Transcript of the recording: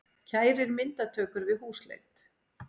Kærir myndatökur við húsleit